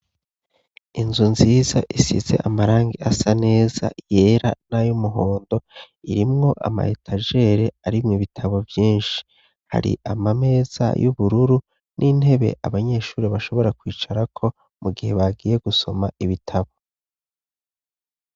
inzu nziza isize amarangi asa neza yera n'ay umuhondo irimwo ama etajere arimwo ibitabo vyinshi hari ama meza y'ubururu n'intebe abanyeshuri bashobora kwicara ko mu gihe bagiye gusoma ibitabo.